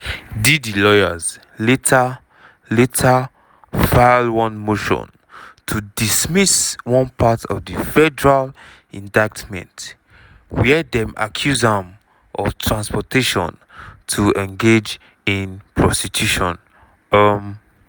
diddy lawyers later later file one motion to dismiss one part of di federal indictment wia dem accuse am of transportation to engage in prostitution. um